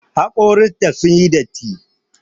Haƙoran ta sun yi datti.